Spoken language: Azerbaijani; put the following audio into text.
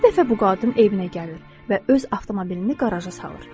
Bir dəfə bu qadın evinə gəlir və öz avtomobilini qaraja salır.